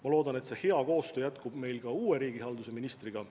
Ma loodan, et see hea koostöö jätkub ka uue riigihalduse ministriga.